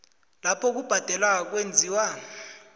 lapho ukubhadela kwenziwa